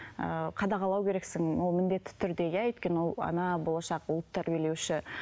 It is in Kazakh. ыыы қадағалау керексің ол міндетті түрде иә өйткені он ана болашақ ұлт тәрбиелеуші